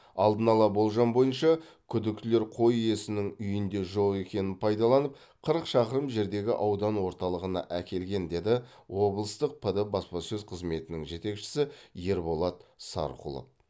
алдын ала болжам бойынша күдіктілер қой иесінің үйінде жоқ екенін пайдаланып қырық шақырым жердегі аудан орталығына әкелген деді облыстық пд баспасөз қызметінің жетекшісі ерболат сарқұлов